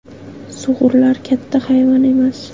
Sug‘urlar katta hayvon emas.